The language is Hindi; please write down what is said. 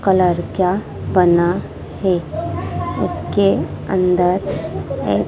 कलर क्या बना है उसके अंदर ये--